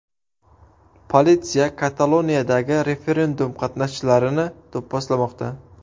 Politsiya Kataloniyadagi referendum qatnashchilarini do‘pposlamoqda.